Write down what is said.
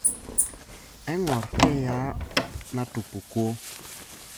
Aingor keyaa natupukuo.